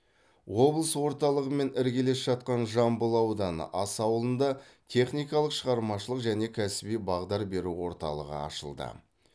облыс орталығымен іргелес жатқан жамбыл ауданы аса ауылында техникалық шығармашылық және кәсіби бағдар беру орталығы ашылды